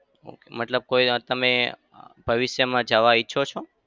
મતલબ કોઈ અમ તમે અમ ભવિષ્યમાં જવા ઈચ્છો છો?